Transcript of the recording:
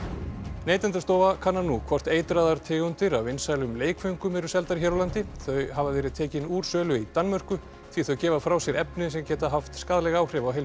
Neytendastofa kannar nú hvort eitraðar tegundir af vinsælum leikföngum eru seldar hér á landi þau hafa verið tekin úr sölu í Danmörku því þau gefa frá sér efni sem geta haft skaðleg áhrif á heilsu